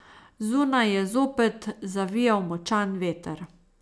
Zunaj je zopet zavijal močan veter.